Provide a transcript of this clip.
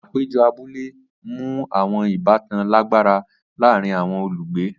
Apejọ abule mu awọn ibatan lagbara laarin awọn olugbe.